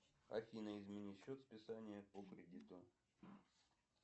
афина измени счет списания по кредиту